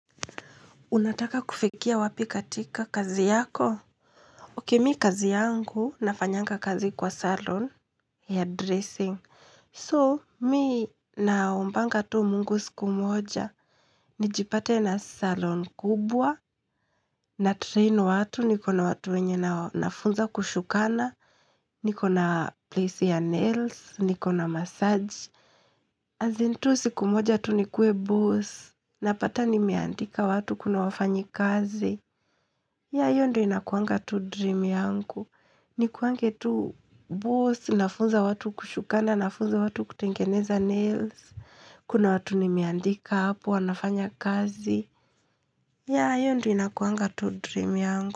Unataka kufikia wapi katika kazi yako? Ok, mimi kazi yangu nafanyanga kazi kwa salon, hairdressing. So, mimi naombanga tu mungu siku moja, nijipate na salon kubwa, na train watu, nikona watu wenye na nafunza kushukana, nikona place ya nails, nikona massage. As in tu siku moja tu nikue boss, napata nimeandika watu kuna wafanyi kazi. Ya hiyo ndo inakuanga to dream yangu. Nikuange tu boss, nafunza watu kushukana, nafunza watu kutengeneza nails. Kuna watu nimeandika hapo, wanafanya kazi. Ya hiyo ndo inakuanga to dream yanku.